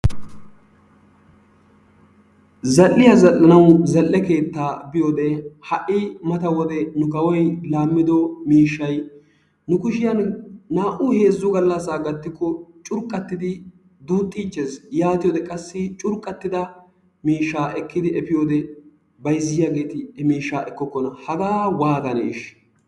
Zal"iyaa zal"anaw zal"e keettaa biyoode ha'i mata wode nu kawoy laammido miishshay nu kushiyaan naa"u heezzu gallassa gatikko curqqatidi duuxxichees, yaatiyoode qassi curqqattida miishshaa ekkidi efiyoode bayzziyaageeti ha miishshaa ekkokona. Hagaa waatanee ishsh!